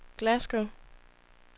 Glasgow